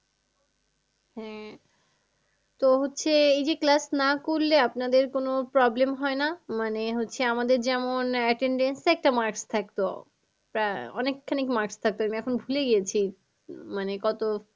হ্যাঁ তো হচ্ছে তো হচ্ছে এই যে class না করলে আপনাদের কোনো problem হয় না? মানে হচ্ছে আমাদের যেমন attendance এ একটা marks থাকতো। তা অনেকখানিক marks থাকতো আমি এখন ভুলে গেছি উম মানে কত